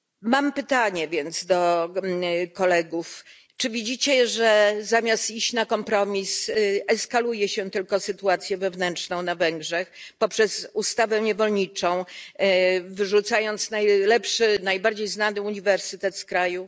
Mam więc pytanie do kolegów czy widzicie, że zamiast iść na kompromis, eskaluje się tylko sytuację wewnętrzną na Węgrzech poprzez ustawę niewolniczą, wyrzucając najlepszy, najbardziej znany uniwersytet z kraju?